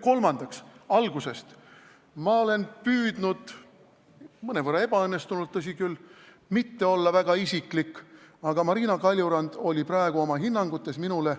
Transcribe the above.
Kolmandaks, ma olen püüdnud – mõnevõrra ebaõnnestunult, tõsi küll – mitte olla väga isiklik, aga Marina Kaljurand oli praegu oma hinnangutes minule